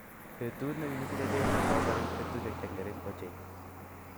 Betut negigisiche cheiso kogorik betushiek chengering ochei